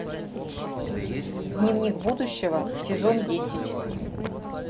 дневник будущего сезон десять